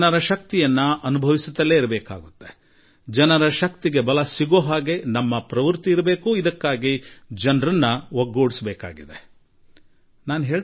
ಜನರ ಸಾಮರ್ಥ್ಯದ ಅರಿವಿನ ಪರಿಚಯ ಮಾಡುತ್ತಿರಲೇಬೇಕು ಮತ್ತು ಜನರ ಶಕ್ತಿಗೆ ಬಲ ತುಂಬುವ ರೀತಿಯಲ್ಲಿ ನಮ್ಮ ಪ್ರತಿಯೊಂದು ರೀತಿ ಪ್ರವೃತ್ತಿ ಹೊಂದಿರಬೇಕು ಹಾಗೂ ಜನರನ್ನು ಒಗ್ಗೂಡಿಸಬೇಕು